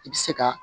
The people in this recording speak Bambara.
I bɛ se ka